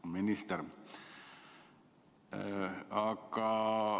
Hea minister!